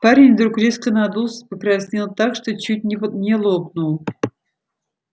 парень вдруг резко надулся и покраснел так что чуть не лопнул